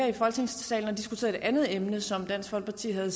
i folketingssalen og diskuterede et andet emne som dansk folkeparti havde